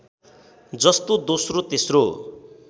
जस्तो दोस्रो तेस्रो